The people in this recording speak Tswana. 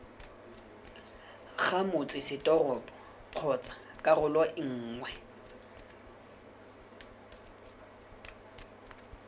ga motsesetoropo kgotsa karolo nngwe